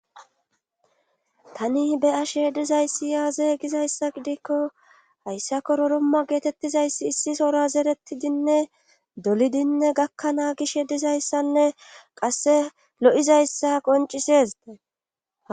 Tani be ashe dizayssiyaazeygizayssa gidikko hayssako roromma geetettizayssi issi sora zerettidinne dolidinne gakkanaa gish dizayssanne qasse lo7izayssa qoncisezdee